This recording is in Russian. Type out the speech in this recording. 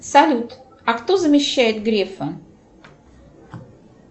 салют а кто замещает грефа